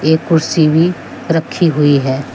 एक कुर्सी भी रखी हुई है।